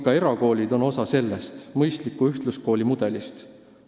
Erakoolid on osa mõistliku ühtluskooli mudelist.